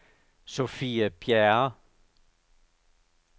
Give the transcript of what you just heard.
Sofie Bjerre